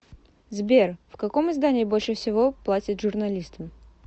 сбер в каком издании больше всего платят журналистам